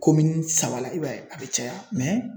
saba la i b'a ye a bɛ caya